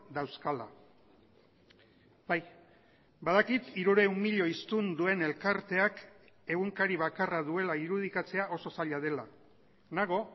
dauzkala bai badakit hirurehun milioi hiztun duen elkarteak egunkari bakarra duela irudikatzea oso zaila dela nago